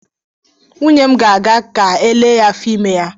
Nwunye m ga-aga ka elee ya afọ ime ya.